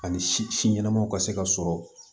Ani si ɲɛnamaw ka se ka sɔrɔ